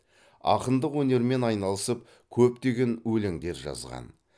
ақындық өнермен айналысып көптеген өлеңдер жазған